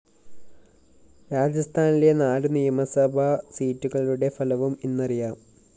രാജസ്ഥാനിലെ നാലു നിയമസഭാ സീറ്റുകളുടെ ഫലവും ഇന്നറിയാം